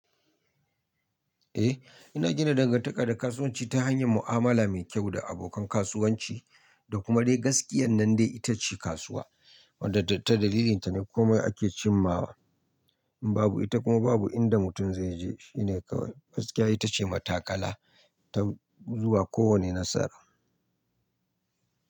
Eh ina gina dangantaka da kasuwanci ta hanyar mu'amala mai kyau da abokan kasuwanci da kuma dai gaskiyan nan dai ita ce kasuwa. Wanda ta dalilinta ne komai ake cimawa. Babu ita kuma babu inda mutum zai je. Shi ne kawai gaskiya ita ce matakala ta zuwa kowane nasara.